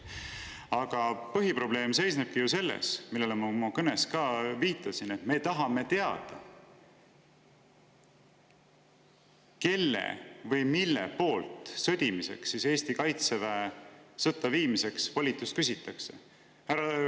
Aga põhiprobleem seisneb selles, millele ma oma kõnes ka viitasin, et me tahame teada, kelle või mille poolt sõdimiseks Eesti kaitseväe sõtta viimiseks volitust küsitakse.